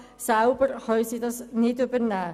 Selber können sie diese nicht übernehmen.